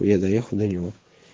я доехал до него